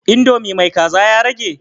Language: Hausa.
Indomi mai kaza ya rage?